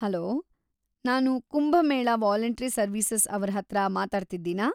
Hello, ನಾನ್‌ Kumbh Mela voluntary services ಅವ್ರ್‌ ಹತ್ರ ಮಾತಾಡ್ತಿದೀನಾ?